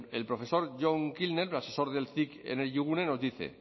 el profesor john kilner asesor del cic energigune nos dice